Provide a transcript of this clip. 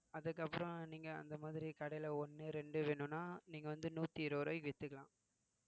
அதுக்கப்புறம் நீங்க அந்த மாதிரி கடையில ஒண்ணு ரெண்டு வேணும்னா நீங்க வந்து நூத்தி இருபது ரூபாய்க்கு வித்துக்கலாம்